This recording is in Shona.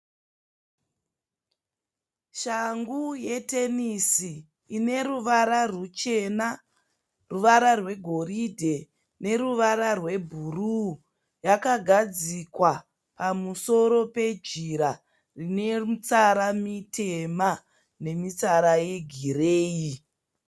Shangu yetenisi ine ruvara ruchena, ruvana rwegoridhe neruvara rwebhuruu. Yakagadzikwa pamusoro pejira rine mitsara mitema nemitsara yegireyi.